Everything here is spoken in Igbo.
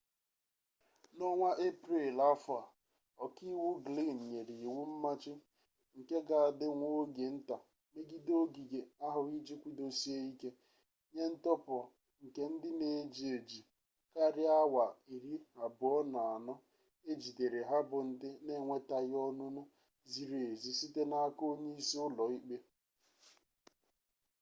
na onwa eprel afo a,oka-iwu glynn nyere iwu mmachi nke ga adi nwa oge-nta megide ogige ahu iji kwudosie-ike nye ntohapu nke ndi eji-eji karia awa 24 ejidere ha bu ndi n’enwetaghi onunu ziri-ezi site n’aka onye-isi ulo-ikpe